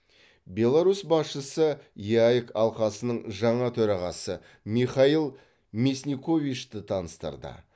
беларусь басшысы еэк алқасының жаңа төрағасы михаил мясниковичті таныстырды